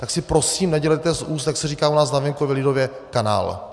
Tak si prosím nedělejte z úst, jak se říká u nás na venkově lidově, kanál.